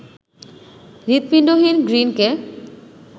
হৃদপিণ্ডহীন গ্রিনকে